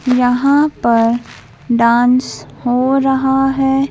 यहाँ पर डांस हो रहा है।